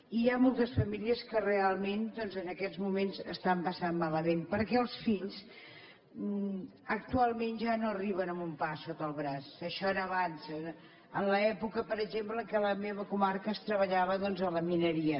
i hi ha moltes famílies que realment doncs en aquest moments ho estan passant malament perquè els fills actualment ja no arriben amb un pa sota el braç això era abans en l’època per exemple en què a la meva comarca es treballava doncs a la mineria